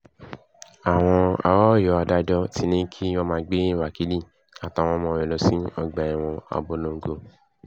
àwọn ará ọyọ́ adájọ́ ti ní kí wọ́n máa gbé wákilì àtàwọn ọmọ rẹ̀ lọ sí ọgbà ẹ̀wọ̀n abọ́longo